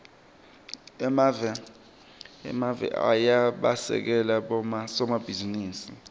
emave ayabasekela bosomabhizinisi